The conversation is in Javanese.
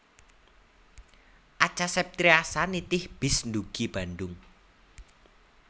Acha Septriasa nitih bis ndugi Bandung